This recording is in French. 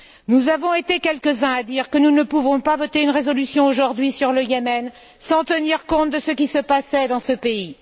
Nous avons été quelques uns à dire que nous ne pouvions pas voter une résolution aujourd'hui sur le Yémen sans tenir compte de ce qui se passait dans ce pays.